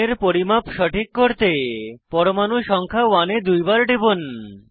কোণের পরিমাপ সঠিক করতে পরমাণু সংখ্যা 1 এ দুইবার টিপুন